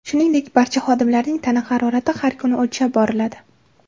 Shuningdek, barcha xodimlarning tana harorati har kuni o‘lchab boriladi.